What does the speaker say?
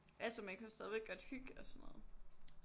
Altså man jo stadigvæk godt hygge og sådan noget